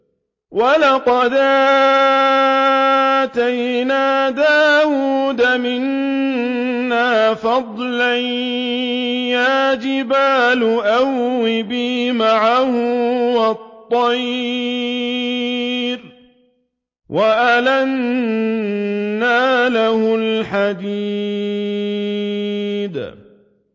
۞ وَلَقَدْ آتَيْنَا دَاوُودَ مِنَّا فَضْلًا ۖ يَا جِبَالُ أَوِّبِي مَعَهُ وَالطَّيْرَ ۖ وَأَلَنَّا لَهُ الْحَدِيدَ